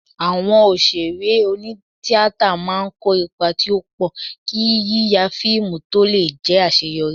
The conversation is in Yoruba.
Awọn òṣèré oní-tíatà máa ń kó ipa tí ó pọ̀, kí yíya fíìmù tó lè jẹ́ àṣeyọrí